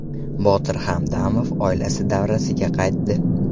Botir Hamdamov oilasi davrasiga qaytdi.